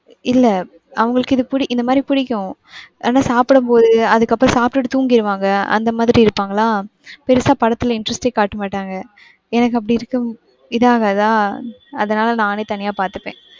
இல்ல அவங்களுக்கு இது பிடி இந்தமாதிரி பிடிக்கும் ஆனா சாப்பிடும்போது, அதுக்கப்பறம் சாப்பிட்டு தூங்கிருவாங்க. அந்தமாதிரி இருப்பாங்களா பெருசா படத்துல interest யே காட்டமாட்டாங்க. எனக்கு அப்டி இருக்க இதாகாதா. அதுனால நானே தனியா பாத்துப்பேன்.